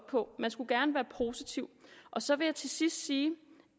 på man skulle gerne være positiv så vil jeg til sidst sige